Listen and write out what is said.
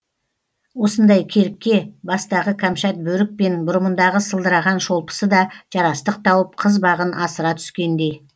осындай керікке бастағы кәмшат бөрік пен бұрымындағы сылдыраған шолпысы да жарастық тауып қыз бағын асыра түскендей